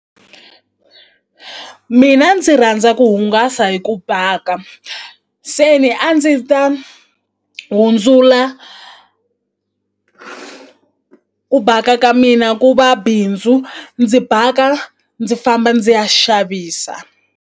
Mina ndzi rhandza ku hungasa hi ku bhka se ni a ndzi ta hundzula ku ku baka ka mina ku va bindzu ndzi baka ndzi famba ndzi ya xavisa.